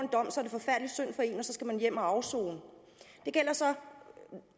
så skal man hjem og afsone